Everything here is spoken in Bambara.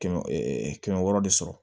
Kɛmɛ kɛmɛ wɔɔrɔ de sɔrɔ